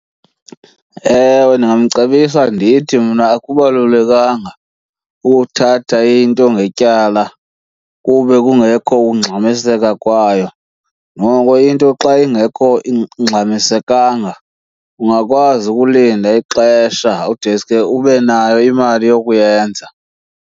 Ewe, ndingamcebisa ndithi mna akubalulekanga ukuthatha into ngetyala kube kungekho ukungxamiseka kwayo. Noko into xa ingekho ingxamisekanga ungakwazi ukulinda ixesha udeske ube nayo imali yokuyenza.